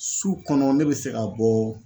Su kɔnɔ ne be se ka bɔ